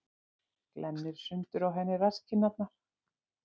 Glennir sundur á henni rasskinnarnar.